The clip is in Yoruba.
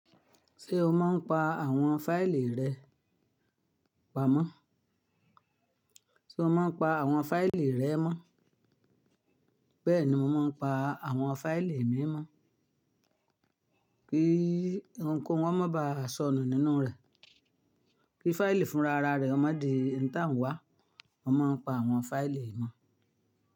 Ṣé o máa ń pa àwọn fáìlì rẹ? Pa mọ́. Ṣé o máa ń pa àwọn fáìlì rẹ mọ́? Bẹ́ẹ̀ni mo máa ń pa àwọn fáìlì mi mọ́, kí ohunkóhun má ba sọnù nínú rẹ̀. Kí fáìlì fúnra rẹ má di ẹni tí à ń wá. Wọ́n máa ń pa àwọn fáìlì mọ́